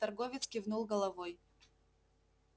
торговец кивнул головой